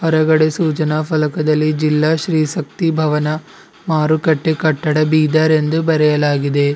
ಕೆಳಗಡೆ ಸೂಚನಾ ಫಲಕದಲ್ಲಿ ಜಿಲ್ಲಾ ಶ್ರೀ ಶಕ್ತಿ ಭವನ ಮಾರುಕಟ್ಟೆ ಕಟ್ಟಡ ಬೀದರ್ ಎಂದು ಬರೆಯಲಾಗಿದೆ.